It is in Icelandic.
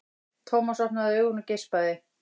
Thomas opnaði augun og geispaði.